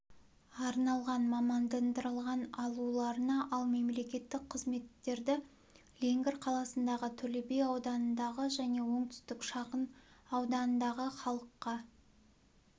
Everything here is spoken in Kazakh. арналған мамандандырылған алуларына ал мемлекеттік қызметтерді леңгір қаласындағы төлеби ауданындағы және оңтүстік шағын ауданындағы халыққа